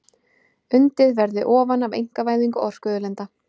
Undið verði ofan af einkavæðingu orkuauðlinda